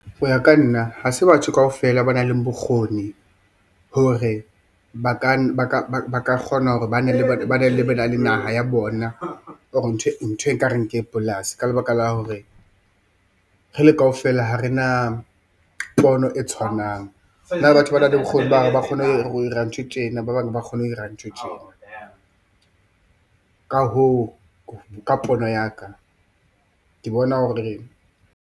Ho ya ka nna ha se batho kaofela ba nang le bokgoni hore ba ka kgona hore ba bane le naha ya bona or ntho ekareng ke polasi, ka lebaka la hore re le kaofela ha re na pono e tshwanang. Hona le batho banang le bokgoni ba hore ba kgone ho ira nthwe tjena, ba bang ba kgone ho ira nthwe tjena, ka hoo ka pono ya ka ke bona hore...